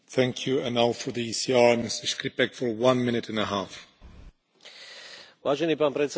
Vážený pán predsedajúci, kohézne fondy už roky predstavujú pre štáty východného bloku vítanú pomoc.